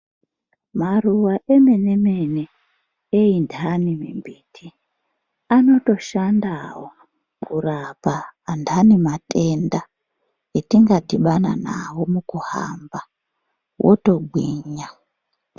Maruva emene mene eyi ndani mi mbita anoto shandawo kurapa andani matenda etinga dhibana nawo muku hamba woto gwinya.